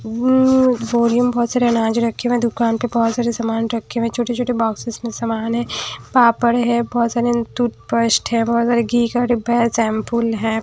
Worry में बहुत सारे अनाज रखे हुए हैं दुकान पे बहुत सारे सामान रखे हुए हैं छोटे-छोटे बॉक्सेस में सामान है पापड़ है बहुत सारे तूट पेस्ट है बहुत सारे घी का डिब्बा है शैंपूल है।